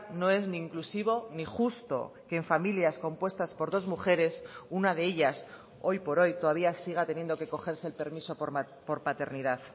no es ni inclusivo ni justo que en familias compuestas por dos mujeres una de ellas hoy por hoy todavía siga teniendo que cogerse el permiso por paternidad